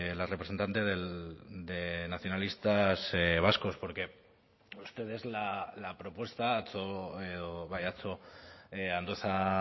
la representante de nacionalistas vascos porque ustedes la propuesta atzo edo bai atzo andueza